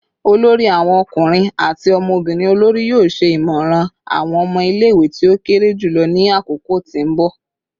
olori awon ọkunrin ati ọmọbirin olori yoo ṣe imọran awọn ọmọ ile-iwe ti o kere julọ ni akoko ti nbọ